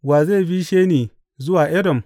Wa zai bishe ni zuwa Edom?